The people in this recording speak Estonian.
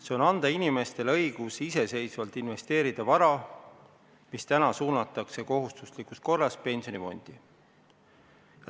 See on anda inimestele õigus iseseisvalt investeerida vara, mis täna suunatakse kohustuslikus korras pensionifondi.